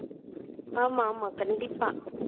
ஆமா ஆமா கண்டிப்பா